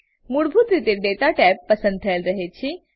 મૂળભૂત રીતે દાતા ટેબ પસંદ થયેલ રહે છે